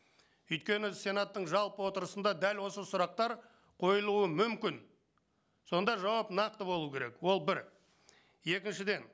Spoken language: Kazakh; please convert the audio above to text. өйткені сенаттың жалпы отырысында дәл осы сұрақтар қойылуы мүмкін сонда жауап нақты болу керек ол бір екіншіден